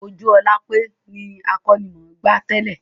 Ojúolápé ni akọ́nimọ̀gbá tẹ́lẹ́